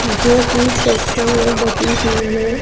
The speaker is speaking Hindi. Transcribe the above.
जोकि सेक्शन में बटी हुई है।